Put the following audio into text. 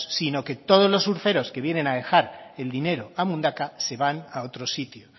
sino que todos los surferos que vienen a dejar el dinero a mundaka se van a otro sitio